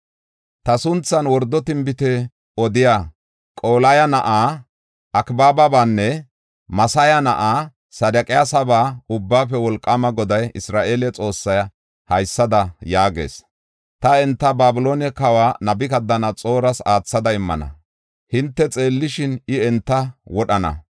Ta sunthan wordo tinbite odiya, Qolaya na7aa Akaababanne Maseya na7aa Sedeqiyasaba Ubbaafe Wolqaama Goday, Isra7eele Xoossay haysada yaagees. “Ta enta Babiloone kawa Nabukadanaxooras aathada immana. Hinte xeellishin, I enta wodhana.